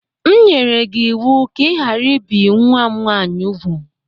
M nyere gi iwu ka i ghara ibi nwa m nwaanyị úgwù!